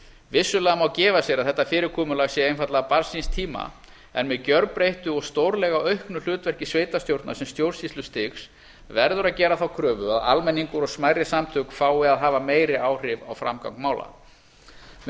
vissulega má gefa sér að þetta fyrirkomulag sé einfaldlega barn síns tíma en með gjörbreyttu og stórlega auknu hlutverki sveitarstjórna sem stjórnsýslustigs verður að gera þá kröfu að almenningur og smærri samtök fái að hafa meiri áhrif á framgang mála með